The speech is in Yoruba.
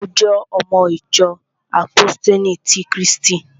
Mo jẹ́ ọmọ ìjọ àpóstélì ti krístì